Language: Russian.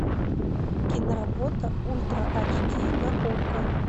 киноработа ультра ач ди на окко